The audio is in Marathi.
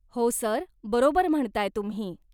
हो सर, बरोबर म्हणताय तुम्ही.